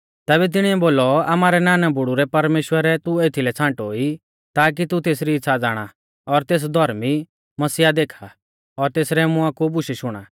तैबै तिणीऐ बोलौ आमारै नानाबुड़ु रै परमेश्‍वरै तू एथीलै छ़ांटो ई ताकी तू तेसरी इच़्छ़ा ज़ाणा और तेस धौर्मी मसीहा देखा और तेसरै मुंआ कु बुशै शुणा